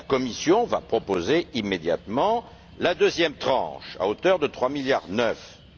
La Commission va proposer immédiatement la deuxième tranche, à hauteur de 3,9 milliards.